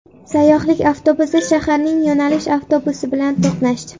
Sayyohlik avtobusi shaharning yo‘nalish avtobusi bilan to‘qnashdi.